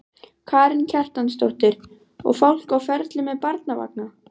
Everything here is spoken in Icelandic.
Karen Kjartansdóttir: Og fólk á ferli með barnavagna?